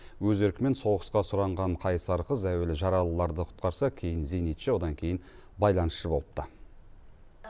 өз еркімен соғысқа сұранған қайсар қыз әуелі жаралыларды құтқарса кейін зенитші одан кейін байланысшы болыпты